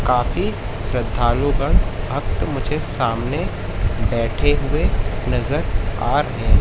काफी श्रद्धालु गण भक्त मुझे सामने बैठे हुए नजर आ रहे हैं।